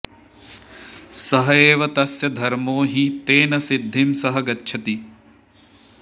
स एव तस्य धर्मो हि तेन सिद्धिं स गच्छति